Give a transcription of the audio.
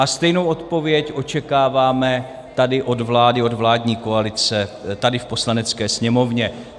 A stejnou odpověď očekáváme tady od vlády, od vládní koalice tady v Poslanecké sněmovně.